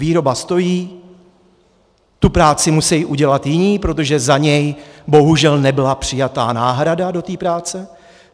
Výroba stojí, tu práci musejí udělat jiní, protože za něj bohužel nebyla přijata náhrada do té práce.